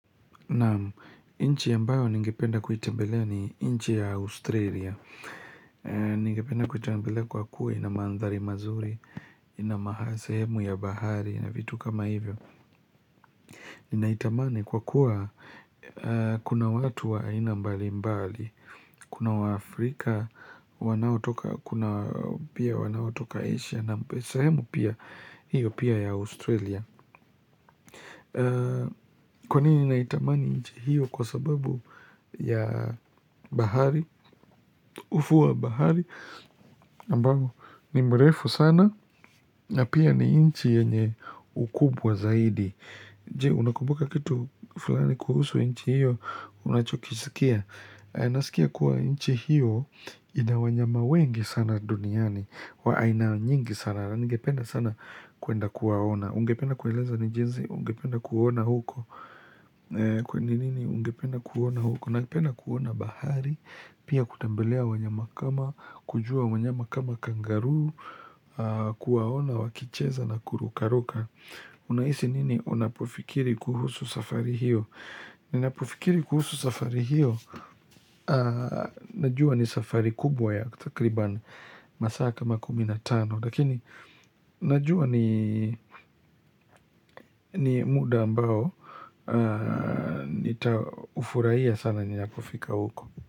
Naam inchi ambayo ningependa kuitembelea ni inchi ya Australia Ningependa kuitembelea kwa kuwa inamandhari mazuri Inamasehemu ya bahari na vitu kama hivyo Ninaitamani kwa kuwa kuna watu wa aina mbali mbali Kuna wa Afrika, kuna pia wanao toka Asia na sehemu pia, hiyo pia ya Australia Kwa nini naitamani nchi hiyo kwa sababu ya bahari ufuo wa bahari ambao ni mrefu sana na pia ni nchi yenye ukubwa zaidi Je unakubuka kitu fulani kuhusu nchi hiyo Unachokisikia Naskia kuwa nchi hiyo inawanyama wengi sana duniani wa aina nyingi sana na ningependa sana kuenda kuwaona Ungependa kueleza ni jinsi Ungependa kuona huko kwani nini ungependa kuona huko napenda kuona bahari pia kutembelea wanyama kama kujua wanyama kama kangaroo kuwaona wakicheza na kurukaruka unahisi nini unapofikiri kuhusu safari hiyo napofikiri kuhusu safari hiyo najua ni safari kubwa ya takribani masaa kama kumi na tano lakini najua ni muda ambao Nita ufurahia sana ninapo fika huko.